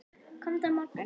Komdu á morgun.